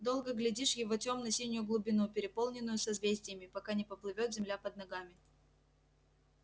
долго глядишь в его тёмно-синюю глубину переполненную созвездиями пока не поплывёт земля под ногами